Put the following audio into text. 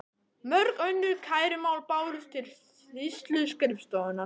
Mörg önnur kærumál bárust til sýsluskrifstofunnar.